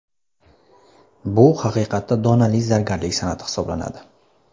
Bu haqiqatda donali zargarlik san’ati hisoblanadi.